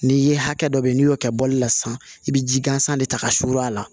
N'i ye hakɛ dɔ bɛ n'i y'o kɛ bɔli la sisan i bɛ ji gansan de ta ka surun a la